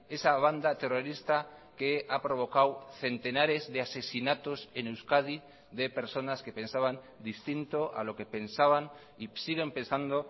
esa banda terrorista que ha provocado centenares de asesinatos en euskadi de personas que pensaban distinto a lo que pensaban y siguen pensando